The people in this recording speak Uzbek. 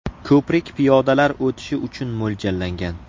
Ko‘prik piyodalar o‘tishi uchun mo‘ljallangan.